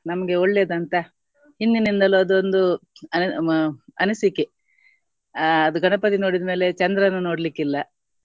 ನಮ್ಗೆ ಒಳ್ಳೇದಂತ ಹಿಂದಿನಿಂದಲೂ ಅದೊಂದು ಅಹ್ ಅನಿಸಿಕೆ. ಅಹ್ ಅದು ಗಣಪತಿ ನೋಡಿದ್ಮೇಲೆ ಚಂದ್ರನ ನೋಡಲಿಕ್ಕಿಲ್ಲ